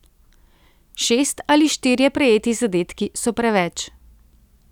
Šest ali štirje prejeti zadetki so preveč.